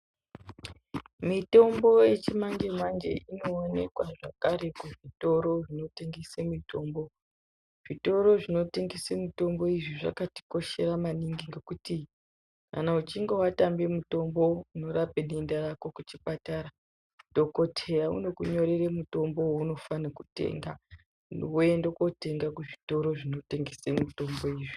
Mitombo yechimanje-manje inoonekwa zvekare kuzvitoro zvinotengese mitombo. Zvitoro zvinotengese mitombo izvi zvakatikoshera maningi ngekuti kana uchinge watambe mitombo unorape denda rako kuchipatara, dhokoteya unokunyorere mutombo wounofane kutenga, woende kotenga kuzvitoro zvinotengese mwitombo izvi.